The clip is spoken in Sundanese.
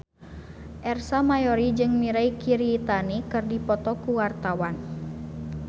Ersa Mayori jeung Mirei Kiritani keur dipoto ku wartawan